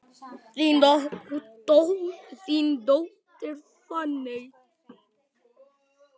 Þín dóttir, Fanney.